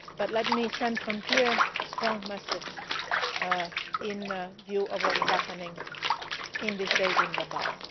ministers. Let me send from here a strong message in view of what is happening in these days